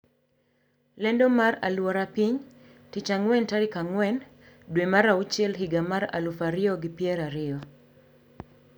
Lendo mar alwora piny Tich Ang`wen tarik ang`wen dwe mar auchiel higa mar aluf ariyo gi pier ariyo.